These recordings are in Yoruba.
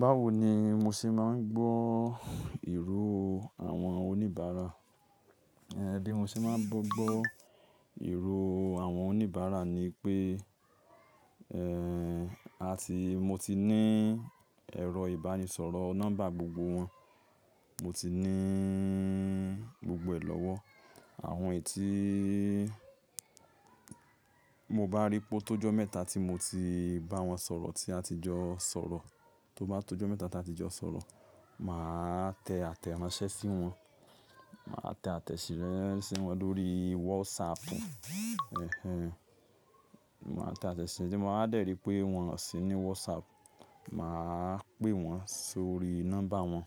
Báwo ni mo ṣe máa ń gbọ́ ìró àwọn oníbàárà? Ẹ̀dè mo ṣe máa ń gbọ́gbọ́ ìró àwọn oníbàárà ni pé, eh, àti mo ti ní ẹ̀rọ ìbánisọ̀rọ̀ nọ́mbà gbogbo wọn. Mo ti nííí gbogbo ẹ̀ lọ́wọ́. Àwọn ẹti mo bá ríi pé tó jọ́ mẹ́ta tí mo ti bá wọn sọ̀rọ̀ tí a ti jọ sọ̀rọ̀, tó bá tó jọ́ mẹ́ta tí a ti jọ sọ̀rọ̀, màá tẹ àtẹ̀ránsẹ́ sí wọn. Màá tẹ àtẹ̀ṣe sí wọn lórí WhatsApp. Èhèñ. Màá tẹ àtẹ̀ṣe, tí mo bá dẹ̀rí pé wọn ò sí ní WhatsApp, màá pè wọ́n sórí nọ́mbà wọn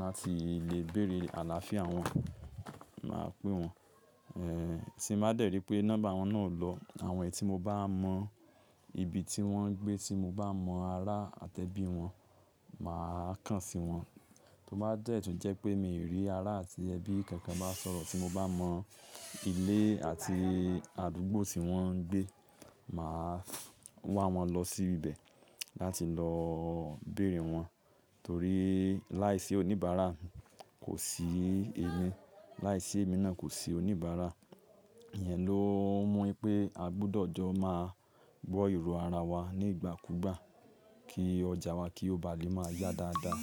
láti lè bèrè àlàáfíà wọn. Màá pè wọ́n, eh, tí mo bá dẹ̀rí pé nọ́mbà wọn náà ò lọ, àwọn ẹti mo bá mọ ibi tí wọ́n ń gbé, tí mo bá mọ ará àtẹ́ bí wọn, màá kàn sí wọn. Tó bá dẹ̀ túń jẹ́ pé mi ò rí ará àti ẹbí kankan bá sọ̀rọ̀, tí mo bá mọ ilé àti àdúgbò tí wọ́n ń gbé, màá wá wọn lọ sí ibẹ̀ láti lọ bèrè wọ́n. Torí láìsí oníbàárà kò sí èmi. Láìsí èmi náà kò sí oníbàárà. Iyẹn ló ń mú pé a gbọdọ̀ jọ máa gbọ́ ìró ara wa nígbàkúgbà kí ọjà wa kí ó bá lè máa yá dáadáa.